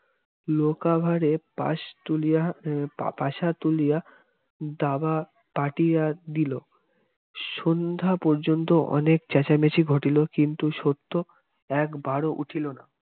লোকাভাবে পাশ তুলিয়া উহ পাশা তুলিয়া দাবা পাতিয়া দিলো সন্ধ্যা পর্যন্ত অনেক চেঁচামেচি ঘটিল কিন্তু সত্য একবার উঠিল না